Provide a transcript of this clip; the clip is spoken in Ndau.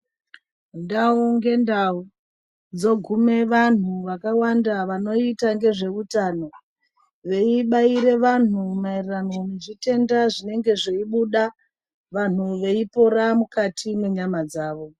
Ndau ngendau dzigume vantu vakawanda vanoita ngezveutano. Veibairire vantu maererano nezvitenda zvinenge zveibuda vantu veipora mukati mwenyama dzavo.